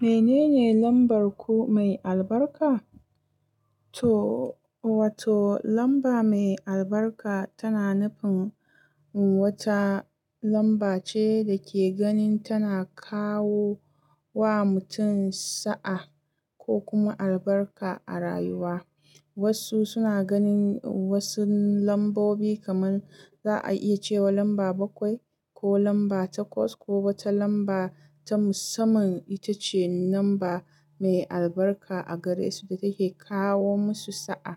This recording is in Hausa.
Menene lambar ku mai albarka? To, wato lamba mai albarka tana nufin wata lamba ce da ke ganin tana kawo wa mutum sa'a ko kuma albarka a rayuwa. Wasu suna ganin wasu lambobi kamar za a iya cewa lamba bakwai ko lamba takwas ko wata lamba ta musamman ita ce lamba mai albarka a gare su da take kawo musu sa'a.